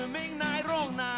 meina svona